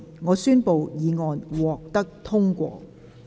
我宣布議案獲得通過。